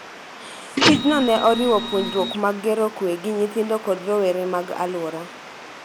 Tijno ne oriwo puonjruok mag gero kuwe gi nyithindo kod rowere mag alwora